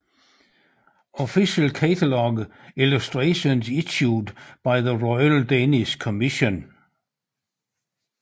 Official Cataloque illustrations issued by the Royal Danish Commission